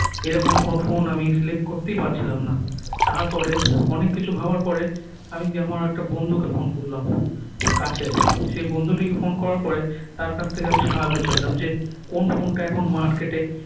এ রকম কোনো ফোন আমি select করতেই পারছিলাম না তার পরে অনেক কিছু ভাবার পরে আমি আমার একটা বন্ধুকে ফোন করলাম কাছের সে বন্ধুটিকে ফোন করার পরে তার কাছ থেকে আমি সাহায্য চাইলাম যে কোন ফোন টা এখন market এ